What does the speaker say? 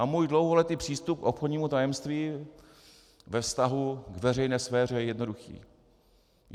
A můj dlouholetý přístup k obchodnímu tajemství ve vztahu k veřejné sféře je jednoduchý.